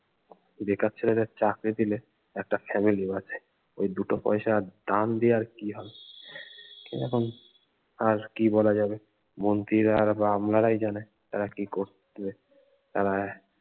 বেকার ছেলেদের চাকরি দিলে একটা family বাঁচে ওই দুটো পয়সা দান দিয়ে আর কি হবে এরকম আর কি বলা যাবে মন্ত্রীরা আর বা আমলারাই জানে তারা কি করতে তারা